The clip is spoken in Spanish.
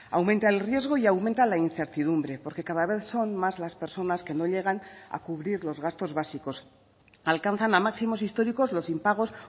aumenta el riesgo y aumenta la incertidumbre porque cada vez son más las personas que no llegan a cubrir los gastos básicos alcanzan a máximos históricos los impagos